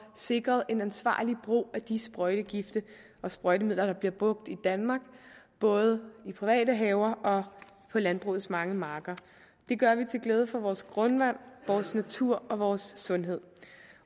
sikret en ansvarlig brug af de sprøjtegifte og sprøjtemidler der bliver brugt i danmark både i private haver og på landbrugets mange marker det gør det til glæde for vores grundvand vores natur og vores sundhed